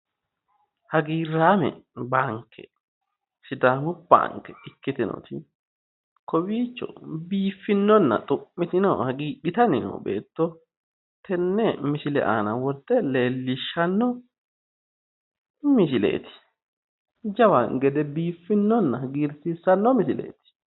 Hagiirame baanke sidaamu banke ikkitinoti Kowiicho biifinonna xu'mitino hagiidhitanni noo beetto tenne misile aana worte leellishanno misileet jawa gede biifinonna hagiirsiisanno misileeti